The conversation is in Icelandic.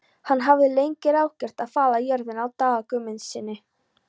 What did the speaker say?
Hann hafði lengi ráðgert að fala jörðina af Daða Guðmundssyni.